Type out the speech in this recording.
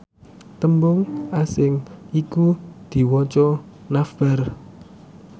tembung asing iku diwaca navbar